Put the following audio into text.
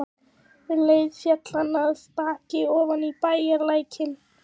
Um leið féll hann af baki ofan í bæjarlækinn.